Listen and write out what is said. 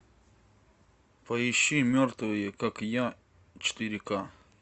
поищи мертвые как я четыре ка